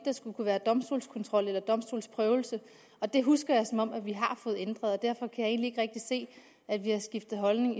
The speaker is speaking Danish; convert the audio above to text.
skulle kunne være domstolskontrol eller domstolsprøvelse og det husker jeg som om vi har fået ændret og derfor kan jeg egentlig ikke rigtig se at vi har skiftet holdning